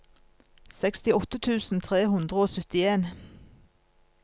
sekstiåtte tusen tre hundre og syttien